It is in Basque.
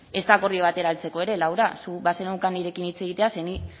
ez da akordio batera heltzeko ere laura zuk bazeneukan nirekin hitz egitea ze ni